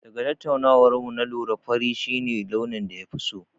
Daga tattaunawar mu na lura fari shi ne launin da ya fi so.